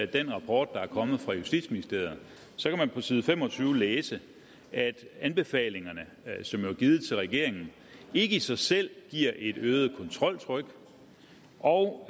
den rapport der er kommet fra justitsministeriet så kan man på side fem og tyve læse at anbefalingerne som jo er givet til regeringen ikke i sig selv giver et øget kontroltryk og